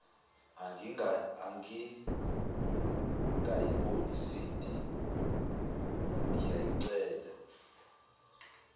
angikayiboni sindi ngiyacela